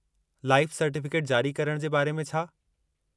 Life certificate जारी करणु जे बारे में छा?